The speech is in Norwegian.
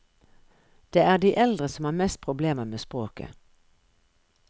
Det er de eldre som har mest problemer med språket.